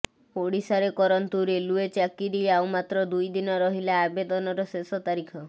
ଓଡିଶାରେ କରନ୍ତୁ ରେଲୱେ ଚାକିରି ଆଉ ମାତ୍ର ଦୁଇ ଦିନ ରହିଲା ଆବେଦନର ଶେଷ ତାରିଖ